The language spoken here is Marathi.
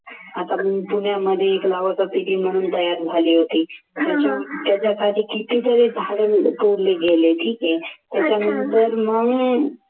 आता मी पुण्यामध्ये एक team म्हणून तयार झाली होती त्याच्यासाठी कितीतरी झाडे तोडले गेले ठीक आहे. त्याच्यामुळे जर म्हणून,